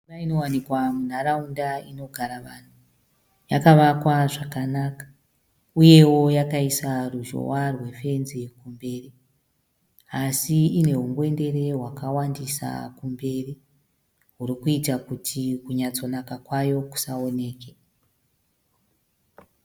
Imba inowanikwa munharaunda inogara vanhu. Yakavakwa zvakanaka uyewo yakaisa ruzhowa rwefenzi kumberi asi inehungwendere hwakawandisa kumberi, hurikuita kuti kunyatsonaka kwayo kusaoneke.